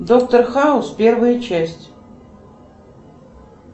доктор хаус первая часть